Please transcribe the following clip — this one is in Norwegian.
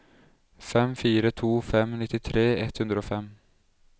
fem fire to fem nittitre ett hundre og fem